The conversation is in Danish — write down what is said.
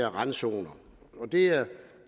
om randzoner det er